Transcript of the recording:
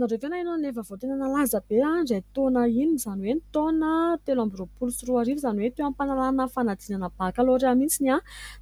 nareo ve naheno an'ilay vaovao tena nalaza be indray taona iny? Izany hoe ny taona telo amby roapolo sy roa arivo izany hoe teo am-panalana fanadinana bakalorea mintsiny